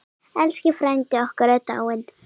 Elsku frændi okkar er dáinn.